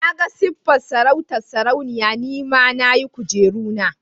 Na ga siffar sarautar sarauniya, ni ma na yi kujeru na.